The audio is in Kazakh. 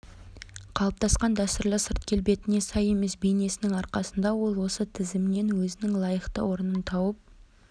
қалыптасқан дәстүрлі сырт келбетіне сай емес бейнесінің арқасында ол осы тізімнен өзінің лайықты орнын тауып